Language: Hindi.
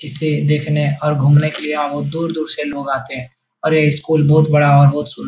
इसे देखने और घूमने के लिए यहाँ बहुत दूर-दूर से लोग आते हैं अरे स्कूल बहुत बड़ा बहुत सुन --